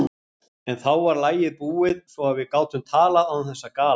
En þá var lagið búið, svo að við gátum talað án þess að gala.